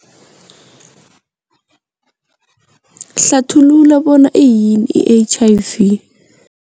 Hlathulula bona iyini i-H_I_V.